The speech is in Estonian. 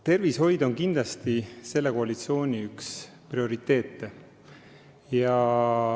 Tervishoid on kindlasti selle koalitsiooni üks prioriteete.